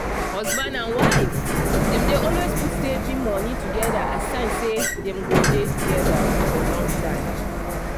husband and wife dem dey always put saving money together as sign say dem go dey together for long time.